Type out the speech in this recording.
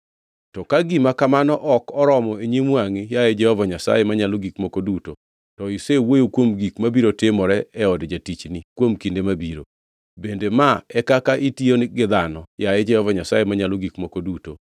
To ka gima kamano ok oromo e nyim wangʼi, yaye Jehova Nyasaye Manyalo Gik Moko Duto, to isewuoyo kuom gik mabiro timore e od jatichni kinde mabiro. Bende ma e kaka itiyo gi dhano, yaye Jehova Nyasaye Manyalo Gik Moko Duto?